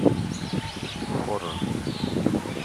хоррор